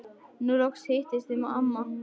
Nú loks hittist þið amma.